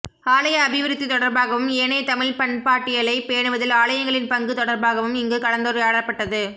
ஆலய அபிவிருத்தி தொடர்பாகவும் ஏனைய தமிழ் பண்பாட்டியலை பேணுவதில் ஆலயங்களின் பங்கு தொடர்பாகவும் இங்கு கலந்துரையாடப்பட்டது